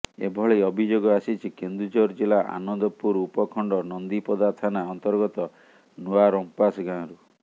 ଏଭଳି ଅଭିଯୋଗ ଆସିଛି କେନ୍ଦୁଝର ଜିଲ୍ଲା ଆନନ୍ଦପୁର ଉପଖଣ୍ଡ ନନ୍ଦିପଦା ଥାନା ଅନ୍ତର୍ଗତ ନୂଆଁ ରମ୍ପାସ ଗାଁରୁ